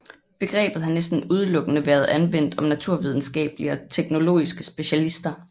Begrebet har næsten udelukkende været anvendt om naturvidenskabelige og teknologiske specialister